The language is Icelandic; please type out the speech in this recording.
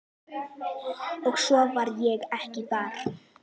Og svo var ég ekki þar.